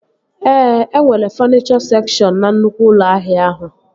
Ee, e nwere fọnichọ sekshọn na nnukwu ụlọ ahịa ahụ